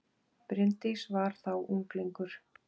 Bryndís var þá unglingur.